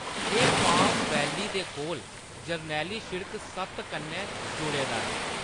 एह्‌‌ palm valley दे कोल जरनैली शिड़क सत्त कन्नै जुड़े दा ऐ।